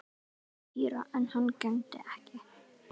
Týra en hann gegndi ekki.